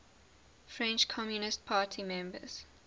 french communist party members